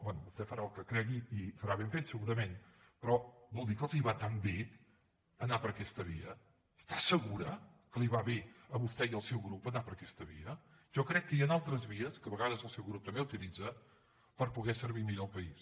bé vostè farà el que cregui i farà ben fet segurament però vol dir que els va tan bé anar per aquesta via està segura que li va bé a vostè i al seu grup anar per aquesta via jo crec que hi han altres vies que a vegades el seu grup també utilitza per poder servir millor el país